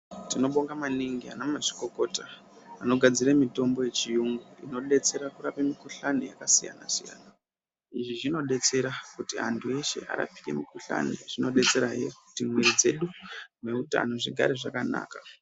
Tinobonga maningi anamazvikokota anogadzira mitombo yechiyungu inodetsera kurape mukuhlani yakasiyana siyana izvi zvinodetsera kuti antu ese arapike mukuhlani zvinodetsera hee kuti mwiri dzedu nehutano zvigare zvakanaka.